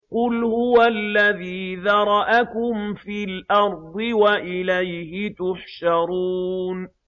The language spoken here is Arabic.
قُلْ هُوَ الَّذِي ذَرَأَكُمْ فِي الْأَرْضِ وَإِلَيْهِ تُحْشَرُونَ